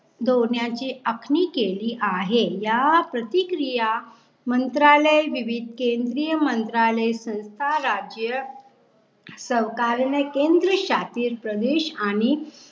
दोण्याची अखणी केली आहे या प्रतिक्रिया मंत्रालय विवि केंद्रीय मंत्रालय संस्था राज्य सावकारणें केंद्रीय शातील प्रदेश आणि